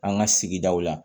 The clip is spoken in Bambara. An ka sigidaw la